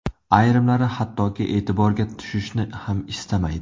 Ayrimlari hattoki e’tiborga tushishni ham istamaydi.